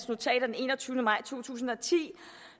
notat af enogtyvende maj to tusind og ti